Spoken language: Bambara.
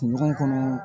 Kun ɲɔgɔn kɔnɔ